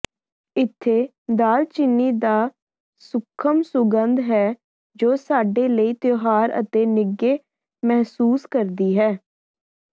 ਇੱਥੇ ਦਾਲਚੀਨੀ ਦਾ ਸੂਖਮ ਸੁਗੰਧ ਹੈ ਜੋ ਸਾਡੇ ਲਈ ਤਿਉਹਾਰ ਅਤੇ ਨਿੱਘੇ ਮਹਿਸੂਸ ਕਰਦੀ ਹੈ